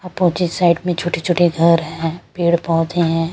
Opposite side में छोटे-छोटे घर हैं पेड़-पौधे हैं।